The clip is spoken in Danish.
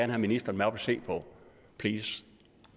have ministeren med op at se på please